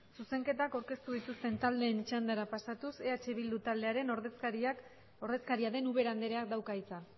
zuzenketak aurkeztu dituzten taldeen txandara pasatuz eh bildu taldearen ordezkaria den ubera andereak dauka hitza